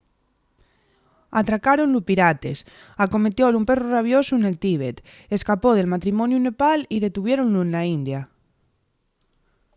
atracáronlu pirates acometiólu un perru rabiosu nel tíbet escapó del matrimoniu en nepal y detuviéronlu na india